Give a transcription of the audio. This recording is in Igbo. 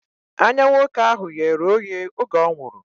Anya nwoke ahụ ghere oghe oge ọ nwụrụ